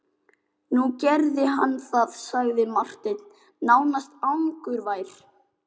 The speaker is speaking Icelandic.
Nú gerði hann það, sagði Marteinn nánast angurvær.